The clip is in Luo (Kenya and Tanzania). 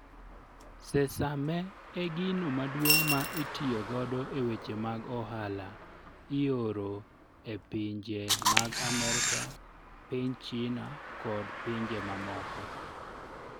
Sesame e gino maduong' ma itiyo godo e weche mag ohala, ioro e pinje mag Amerka, piny China kod pinje mamoko.